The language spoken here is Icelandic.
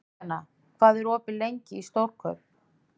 Kristjana, hvað er opið lengi í Stórkaup?